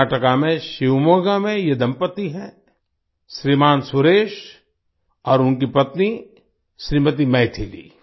कर्नाटक में शिवमोगा के ये दम्पति हैं श्रीमान सुरेश और उनकी पत्नी श्रीमती मैथिली